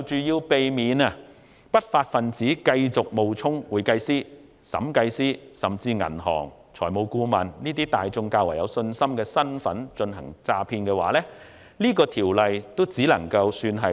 要避免不法分子繼續冒充會計師、審計師，甚至是銀行職員和財務顧問等市民較具信心的身份進行詐騙，《條例草案》只能處理小部分的問題。